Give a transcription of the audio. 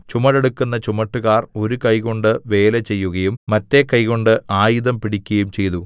ചുമടെടുക്കുന്ന ചുമട്ടുകാർ ഒരു കൈകൊണ്ട് വേല ചെയ്യുകയും മറ്റെ കൈകൊണ്ട് ആയുധം പിടിക്കയും ചെയ്തു